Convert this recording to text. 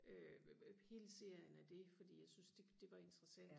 øh hele serien af det fordi jeg synes det det var interessant